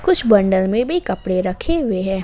कुछ बंडल में भी कपड़े रखे हुए हैं।